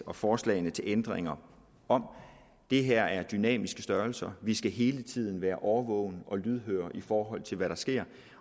og forslagene til ændringer om det her er dynamiske størrelser vi skal hele tiden være overvågne og lydhøre i forhold til hvad der sker